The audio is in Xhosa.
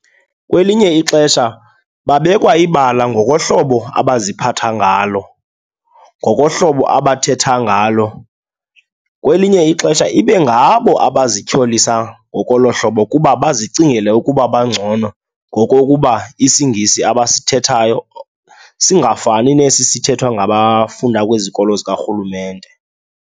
Kwelinye ixesha babekwa ibala ngokohlobo abaziphatha ngalo, ngokohlobo abathetha ngalo. Kwelinye ixesha ibe ngabo abazityholisa ngokolo hlobo kuba bazicingele ukuba bangcono ngokokuba isiNgisi abasithethayo singafani nesi sithethwa ngabafunda kwizikolo zikarhulumente.